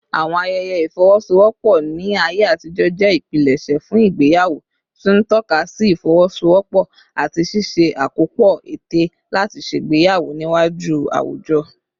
Àwọn ayẹyẹ ìfọwọ́sowọ́pọ̀ ní ayé àtijọ́ jẹ́ ìpilẹ̀ṣẹ̀ fún ìgbéyàwó, tí ń tọ́ka sí ìfọwọ́sowọ́pọ̀ àti ṣíṣe àkópọ̀ ète láti ṣègbéyàwó níwájú àwùjọ.